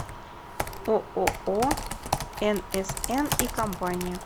ооо нсн и компания